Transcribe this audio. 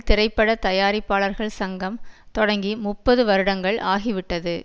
திரைப்பட தயாரிப்பாளர்கள் சங்கம் தொடங்கி முப்பது வருடங்கள் ஆகிவிட்டது